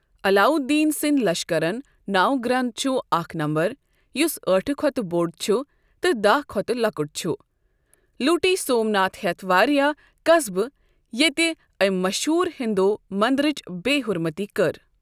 علاؤالدینٕ سٕنٛدۍ لشکَرن لنو گرَٛنٛد چھ اَکھ نَمبَر یس ٲٹھ کھوتہٕ بۆڈ چھ تہٕ داہ کھوتہٕ لوکُٹ چھ۔ لوٗٹۍ سومناتھ ہٮ۪تھ واریاہ قصبہٕ، ییتہِ ٲمۍ مشہوٗر ہندو مندرچ بےٚ حُرمتی کٔر۔